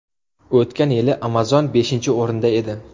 O‘tgan yili Amazon beshinchi o‘rinda edi.